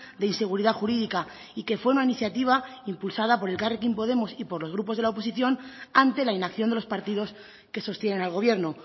de inseguridad jurídica y que fue una iniciativa impulsada por elkarrekin podemos y por los grupos de la oposición ante la inacción de los partidos que sostienen al gobierno